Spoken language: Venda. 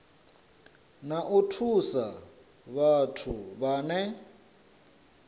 na u thusa vhathu vhane